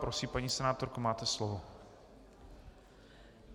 Prosím, paní senátorko, máte slovo.